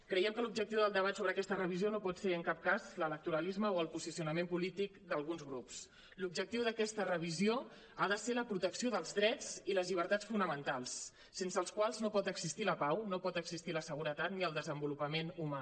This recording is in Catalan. creiem que l’objectiu del debat sobre aquesta revisió no pot ser en cap cas l’electoralisme o el posicionament polític d’alguns grups l’objectiu d’aquesta revisió ha de ser la protecció dels drets i les llibertats fonamentals sense els quals no pot existir la pau no pot existir la seguretat ni el desenvolupament humà